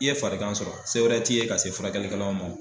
I ye farigan sɔrɔ se wɛrɛ t'i ye ka se furakɛlikɛlaw ma o.